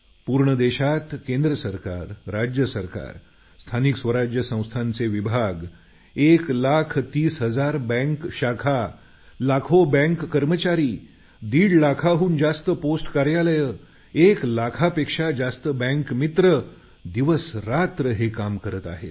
पूर्ण देशात केंद्र सरकार राज्य सरकार स्थानिक स्वराज्य संस्थांचे विभाग एक लाख तीस हजार बँक शाखा लाखो बँक कर्मचारी दीड लाखाहून जास्त पोस्ट कार्यालये एक लाखापेक्षा जास्त बँक मित्र दिवसरात्र हे काम करत आहेत